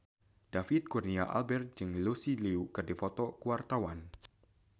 David Kurnia Albert jeung Lucy Liu keur dipoto ku wartawan